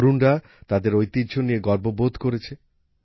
তরুণরা তাদের ঐতিহ্য নিয়ে গর্ববোধ করেছে